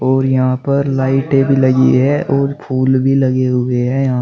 और यहां पर लाइटें भी लगी है और फूल भी लगे हुए है यहां।